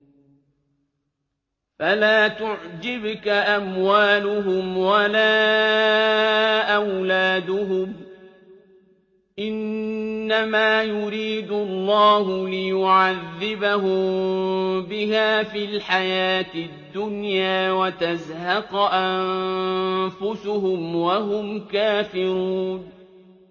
فَلَا تُعْجِبْكَ أَمْوَالُهُمْ وَلَا أَوْلَادُهُمْ ۚ إِنَّمَا يُرِيدُ اللَّهُ لِيُعَذِّبَهُم بِهَا فِي الْحَيَاةِ الدُّنْيَا وَتَزْهَقَ أَنفُسُهُمْ وَهُمْ كَافِرُونَ